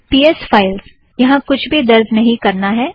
P S files - यहाँ कुछ भी दर्ज़ नहीं करना है